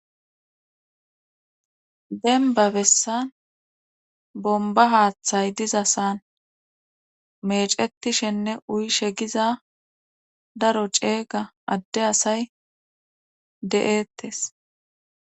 Denba bessan bomba haaththay dizasan mecetishenne uyishegiza daro ceega adde asay de'ettes.